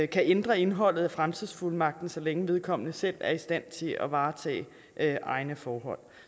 kan ændre indholdet af fremtidsfuldmagten så længe vedkommende selv er i stand til at varetage egne forhold